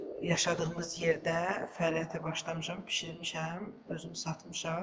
Öz yaşadığımız yerdə fəaliyyətə başlamışam, bişirmişəm, özüm satmışam.